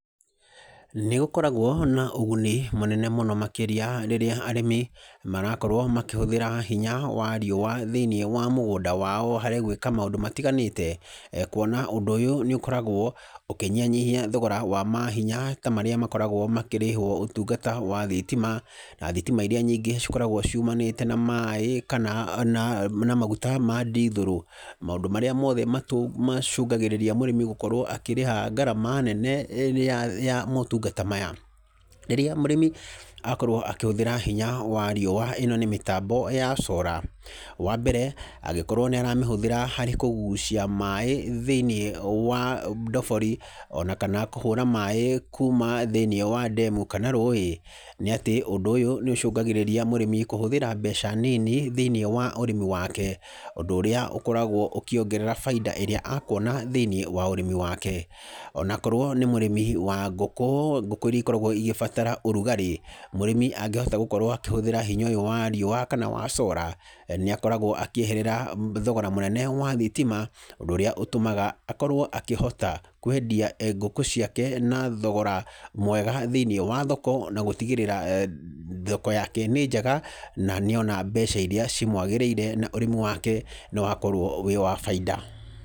Nĩ gũkoragwo na ũguni mũnene mũno makĩria rĩrĩa arimi marakorwo makĩhũthĩra hinya wa riũwa thĩinĩ wa mũgũnda wao harĩ gwĩka maũndũ matiganĩte, kuona ũndũ ũyũ nĩ ũkoragwo ũkĩnyihanyihia thogora wa mahinya tamarĩa makoragwo makĩrĩhwo ũtungata wa thitima, na thitima iria nyingĩ cikoragwo ciumanĩte na maĩ, kana na maguta ma ndithũrũ, maũndũ marĩa mothe matũ macũngagĩrĩria mũrĩmi gũkorwo akĩrĩha ngarama nene ĩrĩa ya motungata maya, rĩrĩa mũrĩmi akorwo akĩhũthĩra hinya wa rĩũwa ĩno nĩ mĩtambo ya cora, wa mbere, angĩkorwo nĩ aramĩhũthĩra harĩ kũgucia maĩ thĩinĩ wa ndobori, ona kana kũhũra maĩ kuuma thĩinĩ wa ndemu, kana rũwĩ, nĩ atĩ ũndũ ũyũ nĩ ũcũngagĩrĩria mũrĩmi kũhũthĩra mbeca nini thĩinĩ wa ũrĩmi wake, ũndũ ũrĩa ũkoragwo ũkĩongerera bainda ĩrĩa akuona thĩinĩ wa ũrĩmi wake, o nakorwo nĩ mũrĩmi wa ngũkũ, ngũkũ iria ikoragwo ĩgĩbatara ũrugarĩ, mũrĩmi angihota gũkorwo akĩhũthĩra hinya ũyũ wa riũwa kana wa cora, nĩ akoragwo akĩeherera thogora mũnene wa thitima, ũndũ ũrĩa ũtũmaga akorwo akĩhota kwendia eeh ngũkũ ciake na thogora mwega thĩinĩ wa thoko, ona gũtigĩrĩra thoko yake nĩ njega, na nĩona mbeca iria cimwagĩrĩire, na ũrĩmi wake nĩ wakorwo wĩ wa bainda.